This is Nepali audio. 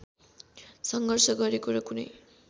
सङ्घर्ष गरेको र कुनै